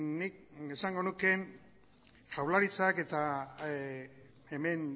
nik esango nuke jaurlaritzak eta hemen